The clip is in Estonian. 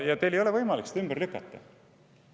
Ja teil ei ole võimalik seda ümber lükata.